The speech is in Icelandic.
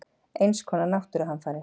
Eins konar náttúruhamfarir.